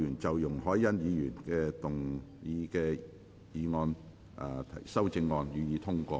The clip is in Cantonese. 在容海恩議員答辯後，辯論即告結束。